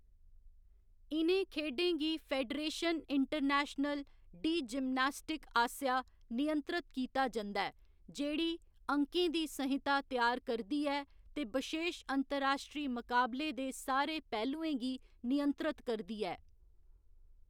इ'नें खेढें गी फेडरेशन इंटरनेशनल डी जिम्नास्टिक आसेआ नियंत्रत कीता जंदा ऐ, जेह्‌‌ड़ी अंकें दी संहिता त्यार करदी ऐ ते बशेश अंतर्राश्ट्री मकाबले दे सारे पहलुएं गी नियंत्रत करदी ऐ।